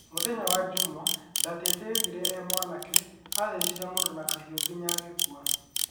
Mũthenya wa jumaa, Durtete oigire ĩ mwanake, athecire mũndũ na kahiũ nginya agĩkua.